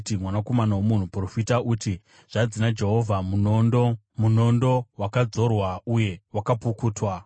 “Mwanakomana womunhu, profita uti, ‘Zvanzi naJehovha: “ ‘Munondo, munondo, wakarodzwa uye wakapukutwa,